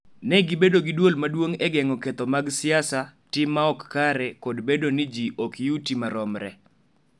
Ne gibedo gi dwol maduong� e geng�o ketho mag siasa, tim ma ok kare, kod bedo ni ji ok yuti maromre.